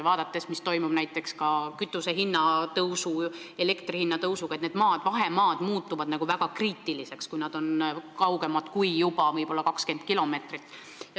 Vaadates, kuidas tõusevad kütuse hind ja elektri hind, on selge, et vahemaad muutuvad kriitiliseks, kui tuleb sõita kaugemale kui 20 kilomeetrit.